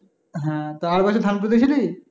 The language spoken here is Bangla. হ্যাঁ তো আর বছর ধান পুতেছিলি?